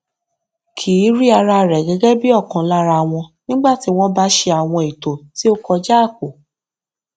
kì í rí ara rẹ gẹgẹ bí ọkan lára wọn nígbà tí wọn bá ṣe àwọn ètò tí ó kọjá àpò